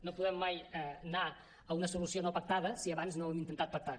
no podem mai anar a una solució no pactada si abans no ho hem intentat pactar